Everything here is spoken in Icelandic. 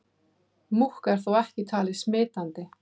Múkk er þó ekki talið smitandi.